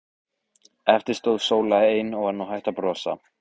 Eftir stóð Sóla ein og var nú hætt að brosa.